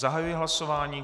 Zahajuji hlasování.